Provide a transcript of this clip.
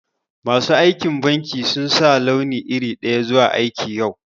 Masu aikin banki sun sa launi iri daya zuwa aiki yau.